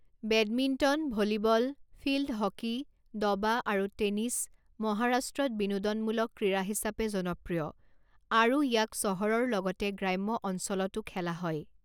Badminton, volleyball, field hockey, দবা, আৰু tennis মহাৰাষ্ট্ৰত বিনোদনমূলক ক্ৰীড়া হিচাপে জনপ্ৰিয়, আৰু ইয়াক চহৰৰ লগতে গ্ৰাম্য অঞ্চলতো খেলা হয়।